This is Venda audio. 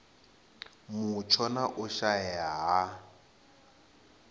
mutsho na u shaea ha